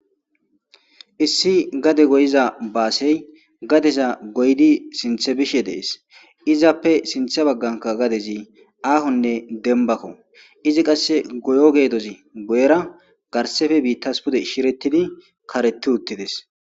issi gade goyiza baasey gadeza goydi sinthe bishe dees izappe sinthe bagganka gadezi aahonne denbakko izi qasse goyo geedozi goyera garsefe biittas pude shirettidi kareti uttides